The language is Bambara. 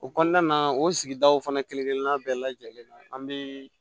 O kɔnɔna na o sigidaw fana kelen-kelenna bɛɛ lajɛlen na an bɛ